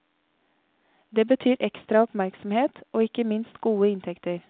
Det betyr ekstra oppmerksomhet og ikke minst gode inntekter.